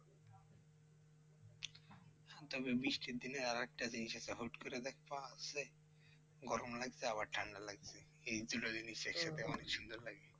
তবে বৃষ্টির দিনে আর একটা জিনিস আছে হুট করে দেখবা যে, গরম লাগছে আবার ঠান্ডা লাগছে। এই দুটো জিনিস একসাথে অনেক সুন্দর লাগে।